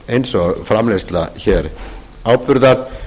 eins og framleiðslu áburðar